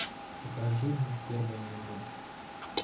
покажи мне первая любовь